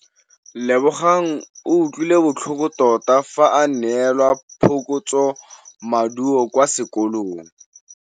Lebogang o utlwile botlhoko tota fa a neelwa phokotsômaduô kwa sekolong.